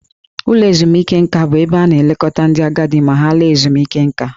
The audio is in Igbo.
Ụlọ ezumike nka bụ ebe a na-elekọta ndị agadi ma ha laa ezumike nká.